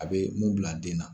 A bɛ mun bila den na.